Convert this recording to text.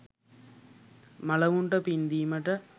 මළවුන්ට පින් දීමට,